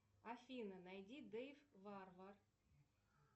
афина найди дэйв варвар